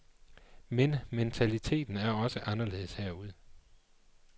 Men mentaliteten er også anderledes herude.